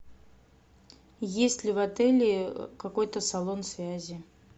есть ли в отеле какой то салон связи